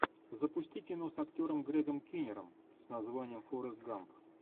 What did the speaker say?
запусти кино с актером грегом киннером с названием форрест гамп